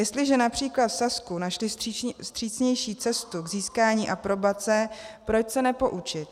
Jestliže například v Sasku našli vstřícnější cestu k získání aprobace, proč se nepoučit?